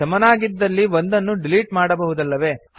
ಸಮನಾಗಿದ್ದಲ್ಲಿ ಒಂದನ್ನು ಡಿಲಿಟ್ ಮಾಡಬಹುದಲ್ಲವೇ